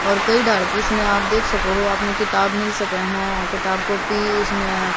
और कई डार्किश में आप देख सको हो अपने किताब मिल सके है किताब को पीस में--